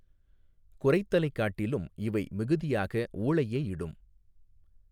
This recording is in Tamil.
குரைத்தலைக் காட்டிலும் இவை மிகுதியாக ஊளையே இடும்.